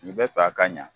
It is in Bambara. I bɛ fɛ a ka ɲa